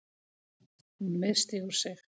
Hún misstígur sig.